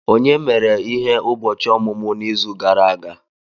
Onye mere ihe ụbọchị ọmụmụ n'izu gara aga!?